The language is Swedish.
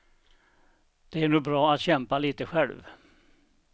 Det är nog bra att kämpa lite själv.